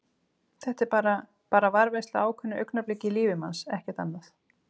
Þetta er bara. bara varðveisla á ákveðnu augnabliki í lífi manns, ekkert annað.